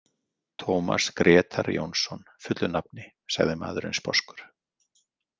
Tómas Grétar Jónsson fullu nafni, sagði maðurinn sposkur.